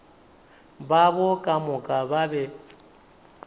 babo ka moka ba be